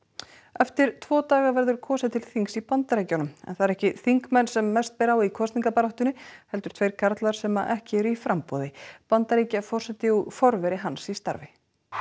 eftir tvo daga verður kosið til þings í Bandaríkjunum en það eru ekki þingmenn sem mest ber á í kosningabaráttunni heldur tveir karlar sem ekki eru í framboði Bandaríkjaforseti og forveri hans í starfi